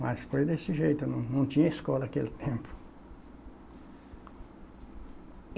Mas foi desse jeito, não não tinha escola aquele tempo.